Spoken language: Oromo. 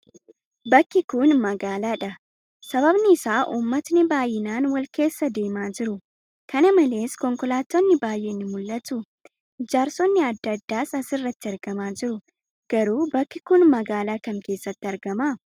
Bakki kun magaalaa dha. Sababni isaa ummatni baay'inaan wal keessa deemaa jiru. Kanamalees konkolaattonni baay'een ni mul'atu. Ijaarsonni adda addaas as irratti argamaa jiru. Garuu bakki kun magaalaa kam keessatti argama?